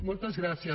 moltes gràcies